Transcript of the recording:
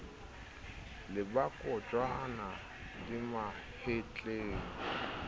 le ba kojwana di mahetleng